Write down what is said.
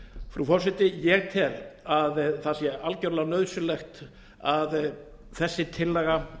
frú forseti ég tel að það sé algjörlega nauðsynlegt að þessi tillaga